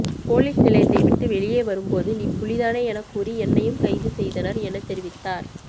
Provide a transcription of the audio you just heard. police நிலையத்தை விட்டு வெளியே வரும்போது நீ புலிதானே எனக் கூறி என்னையும் கைது செய்தனர் எனத் தெரிவித்தார்